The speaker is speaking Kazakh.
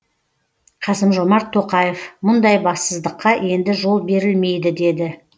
қасым жомарт тоқаев мұндай бассыздыққа енді жол берілмейді деді